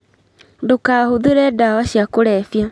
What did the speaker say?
ndũkahũthĩre dawa cia kũrebia